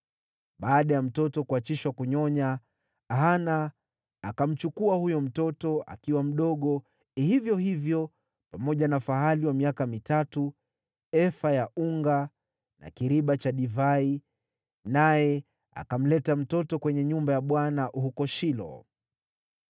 Baada ya mtoto kuachishwa kunyonya, Hana akamchukua huyo mtoto, akiwa mdogo hivyo hivyo, pamoja na fahali wa miaka mitatu, efa ya unga na kiriba cha divai, naye akamleta mtoto kwenye nyumba ya Bwana huko Shilo.